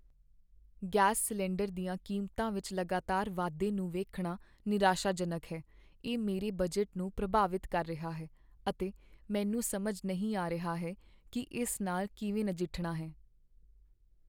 Gas cylinder ਦੀਆਂ ਕੀਮਤਾਂ ਵਿੱਚ ਲਗਾਤਾਰ ਵਾਧੇ ਨੂੰ ਵੇਖਣਾ ਨਿਰਾਸ਼ਾਜਨਕ ਹੈ। ਇਹ ਮੇਰੇ ਬਜਟ ਨੂੰ ਪ੍ਰਭਾਵਿਤ ਕਰ ਰਿਹਾ ਹੈ, ਅਤੇ ਮੈਨੂੰ ਸਮਝ ਨਹੀਂ ਆ ਰਿਹਾ ਹੈ ਕਿ ਇਸ ਨਾਲ ਕਿਵੇਂ ਨਜਿੱਠਣਾ ਹੈ।